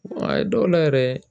A ye dɔw la yɛrɛ